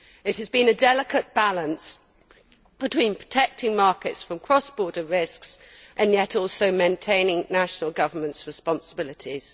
It has been a delicate balancing act between protecting markets from cross border risks and yet also maintaining national governments' responsibilities.